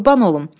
Qurban olum.